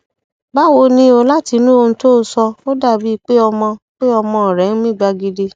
báwo ni o látinú ohun tó o sọ ó dàbíi pé ọmọ pé ọmọ rẹ ń mí gbagidi